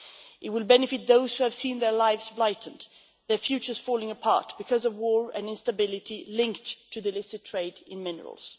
It will benefit those who have seen their lives blighted, their futures falling apart because of war and instability linked to illicit trade in minerals.